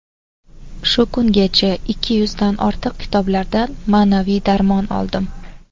Shu kungacha ikki yuzdan ortiq kitoblardan ma’naviy darmon oldim.